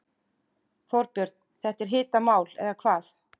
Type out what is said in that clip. Þorbjörn, þetta er hitamál eða hvað?